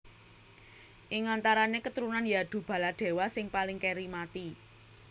Ing antarané keturunan Yadu Baladewa sing paling kèri mati